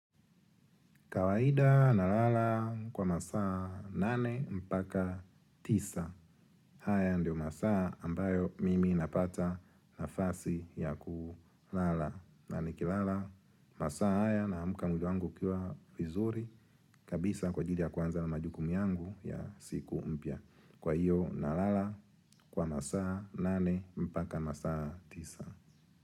Kawaida nalala kwa masaa nane mpaka tisa. Haya ndio masaa ambayo mimi napata nafasi ya kulala. Na nikilala masaa haya naamka mwili wangu ukiwa vizuri kabisa kwa ajili ya kuanza na majukumu yangu ya siku mpya. Kwa hiyo nalala kwa masaa nane mpaka masaa tisa.